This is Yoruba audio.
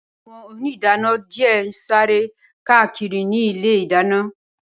Awõn òníìdánõ dìé n sàrè kákírì ni ìlé ìdáñõ